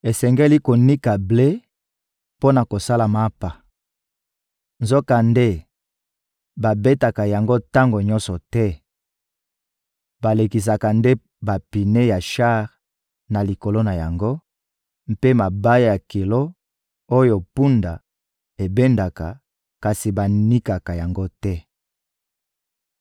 Esengeli konika ble mpo na kosala mapa; nzokande babetaka yango tango nyonso te, balekisaka nde bapine ya shar na likolo na yango mpe mabaya ya kilo, oyo mpunda ebendaka, kasi banikaka yango te.